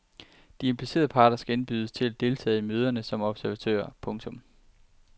De implicerede parter skal indbydes til at deltage i møderne som observatører. punktum